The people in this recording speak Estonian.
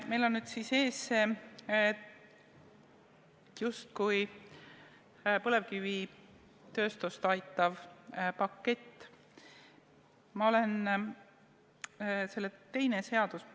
Meil on nüüd siis ees see justkui põlevkivitööstust aitav pakett, selle teine seaduseelnõu.